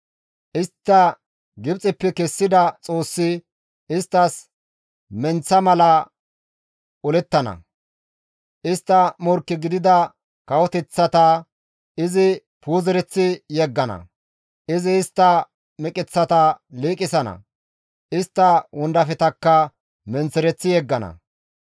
Istta Gibxeppe kessida Xoossi isttas menththa mala olettana; istta morkke gidida kawoteththata izi puuzereththi yeggana; izi istta meqeththata liiqisana; istta wondafetakka menththereththi yeggana.